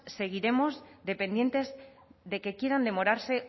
seguiremos dependientes de que quieran demorarse